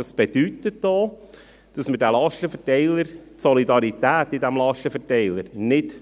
Dies bedeutet auch, dass wir die Solidarität in diesem Lastenverteiler nicht